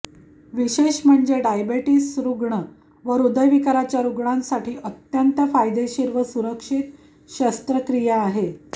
विशेष म्हणजे डायबेटिस रुग्ण व हृदय विकाराचे रुग्णांसाठी अत्यंत फायदेशीर व सुरक्षित शस्त्रक्रिया आहे